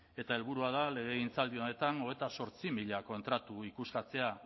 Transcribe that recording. eta helburua da legegintzaldi honetan hogeita zortzi mila kontratu ikuskatzea